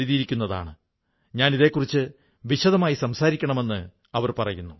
P എഴുതിയിരിക്കുന്നതാണ് ഞാൻ ഇതേക്കുറിച്ച് വിശദമായി സംസാരിക്കണമെന്ന് അവർ പറയുന്നു